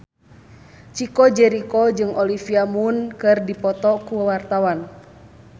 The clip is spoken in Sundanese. Chico Jericho jeung Olivia Munn keur dipoto ku wartawan